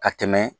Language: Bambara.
Ka tɛmɛ